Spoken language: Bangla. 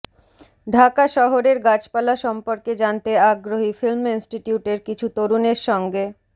ঢাকা শহরের গাছপালা সম্পর্কে জানতে আগ্রহী ফিল্ম ইনস্টিটিউটের কিছু তরুণের সঙ্গে